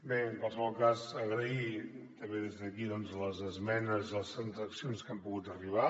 bé en qualsevol cas agrair també des d’aquí les esmenes les transaccions a què hem pogut arribar